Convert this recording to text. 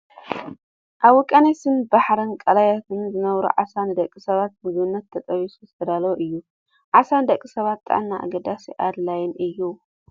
ኣብ ውቅያኖስን ባሕር፣ ቀላያትን ዝነብር ዓሳ ንደቂ ሰባት ምግብነት ተጠቢሱ ዝተዳለወ እዩ ። ዓሳ ንደቂ ሰባት ጥዕና ኣገዳስን ኣድላይን እዩ ።